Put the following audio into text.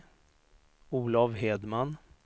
Olov Hedman